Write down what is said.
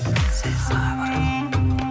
сәл сабыр